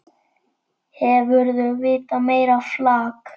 Hefurðu vitað meira flak!